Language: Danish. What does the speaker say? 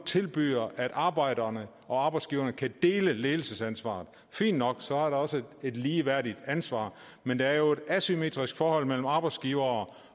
tilbyder at arbejderne og arbejdsgiveren kan dele ledelsesansvaret fint nok så er der også et ligeværdigt ansvar men der er jo et asymmetrisk forhold mellem arbejdsgivere